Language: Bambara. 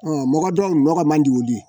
mɔgɔ dɔw nɔgɔ man di olu ye